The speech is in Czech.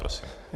Prosím.